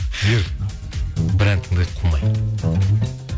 жігер бір ән тыңдайық қумай